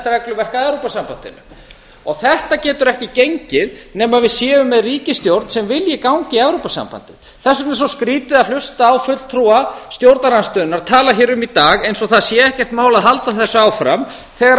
regluverk að evrópusambandinu og þetta getur ekki gengið nema við séum með ríkisstjórn sem vilji ganga í evrópusambandið þess vegna er svo skrýtið að hlusta á fulltrúa stjórnarandstöðunnar tala hér um í dag eins og það sé ekkert mál að halda þessu áfram þegar